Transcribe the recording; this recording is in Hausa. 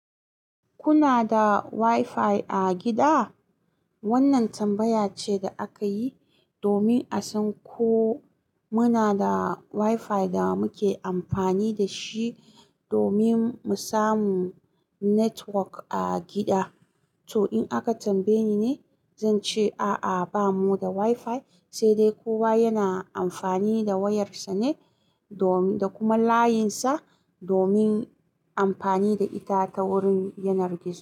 Kuna da wi-fi a gida? Wannan tambaya ce da aka yi domin a san ko muna da wi-fi da muke amfani da shi domin mu samu network a gida. To in aka tambaye ni ne, zan ce a'a bamu da wi-fi, sai dai kowa yana amfani da wayarsa ne domin, da kuma layinsa domin amfani da ita ta wurin yanar gizo.